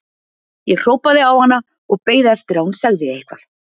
Ég hrópaði á hana og beið eftir að hún segði eitthvað.